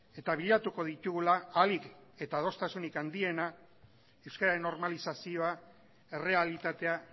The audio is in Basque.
eta bilatuko ditugula ahalik eta adostasunik handiena euskararen normalizazioa errealitatea